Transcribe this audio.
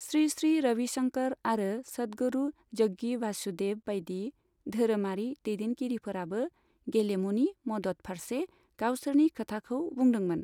श्री श्री रविशंकर आरो सदगुरु जग्गी भासुदेब बायदि धोरोमारि दैदेनगिरिफोराबो गेलेमुनि मदद फारसे गावसोरनि खोथाखौ बुंदोंमोन।